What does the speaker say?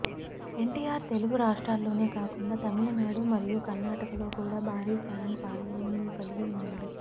ఎన్టీఆర్ తెలుగు రాష్ట్రాల్లోనే కాకుండా తమిళనాడు మరియు కర్ణాటకలో కూడా భారీ ఫ్యాన్ ఫాలోయింగ్ను కలిగి ఉన్నాడు